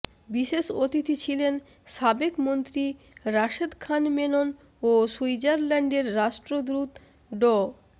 বিশেষ অতিথি ছিলেন সাবেক মন্ত্রী রাশেদ খান মেনন ও সুইজারল্যন্ডের রাষ্ট্রদূত ড